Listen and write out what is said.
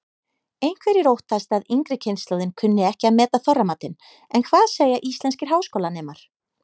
Einhverjir óttast að yngri kynslóðin kunni ekki að meta Þorramatinn en hvað segja íslenskir háskólanemar?